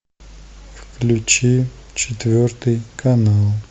включи четвертый канал